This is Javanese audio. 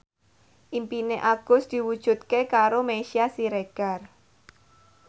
impine Agus diwujudke karo Meisya Siregar